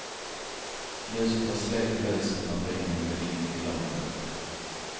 Ljuset var släckt i huset när bilen gled in i villaområdet.